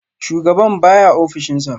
Shugaban baya a ofishinsa